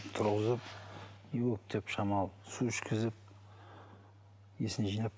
тұрғызып не болды деп шамалы су ішкізіп есін жинап